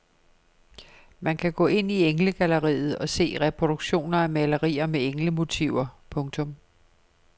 Man kan gå ind i englegalleriet og se reproduktioner af malerier med englemotiver. punktum